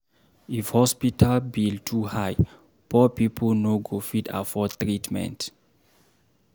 If hospital bill too high, poor pipo no go fit afford treatment.